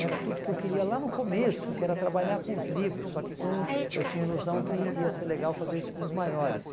era tudo que eu queria lá no começo, que era trabalhar com os livros, só que com eu tinha a ilusão que ia ser legal fazer isso com os maiores.